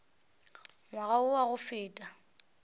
ngwaga wo wa go feta